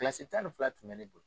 tan ni fila tun bɛ ne bolo.